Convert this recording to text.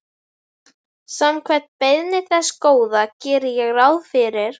Samkvæmt beiðni þess Góða geri ég ráð fyrir.